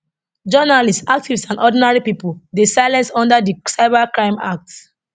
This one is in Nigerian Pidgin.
journalists activists and ordinary pipo dey silence under di cybercrime act